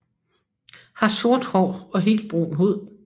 Har sort hår og helt brun hud